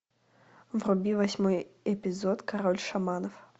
вруби восьмой эпизод король шаманов